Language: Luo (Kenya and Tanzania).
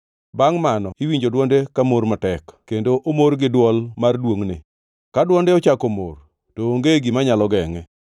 Bangʼ mano iwinjo dwonde ka mor matek kendo omor gi dwol mar duongʼne. Ka dwonde ochako mor, to onge gima nyalo gengʼe.